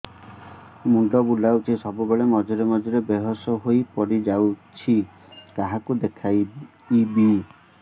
ମୁଣ୍ଡ ବୁଲାଉଛି ସବୁବେଳେ ମଝିରେ ମଝିରେ ବେହୋସ ହେଇ ପଡିଯାଉଛି କାହାକୁ ଦେଖେଇବି